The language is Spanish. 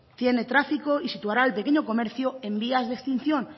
tiene tráfico y situará al pequeño comercio en vías de extinción